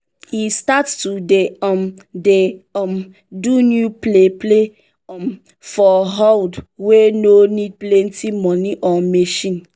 e start to dey um dey um do new play play um for houde wey no need plenty money or machine.